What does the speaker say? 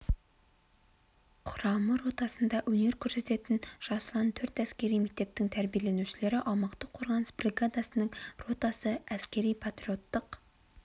құрама ротасында өнер көрсететін жас ұлан төрт әскери мектептің тәрбиеленушілері аумақтық қорғаныс бригадасының ротасы әскери-патриоттық